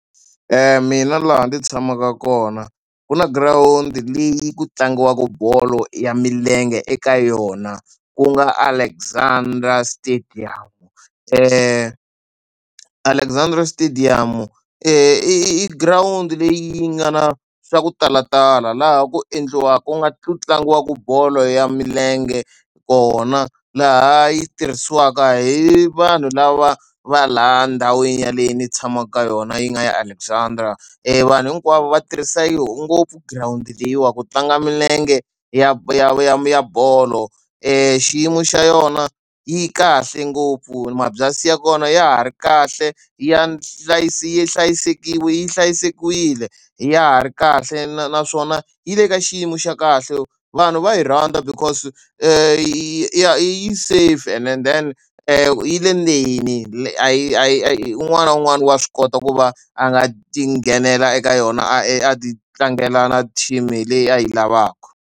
Mina laha ndzi tshamaka kona ku na girawundi leyi ku tlangiwaka bolo ya milenge eka yona, ku nga a Alexandra stadium. Alexandra stadium-u i i girawundi leyi yi nga na swa ku talatala laha ku ku nga tlangiwaka bolo ya milenge kona, laha yi tirhisiwaka hi vanhu lava va laha ndhawini yaleyo ni tshamaka ka yona yi nga ya Alexandra. Vanhu hinkwavo va tirhisa yona ngopfu girawundi leyiwani ku tlanga milenge ya ya ya ya bolo. I xiyimo xa yona yi kahle ngopfu, mabyanyi ya kona ya ha ri kahle ya yi yi hlayisekile, ya ha ri kahle na naswona yi le ka xiyimo xa kahle. Vanhu va yi rhandza because ya yi safe and then yi le ndzeni a yi a yi un'wana na un'wana wa swi kota ku va a nga ti nghenela eka yona a yi a ti tlangela team hi leyi a yi lavaka.